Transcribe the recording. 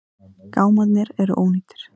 Gámarnir eru ónýtir.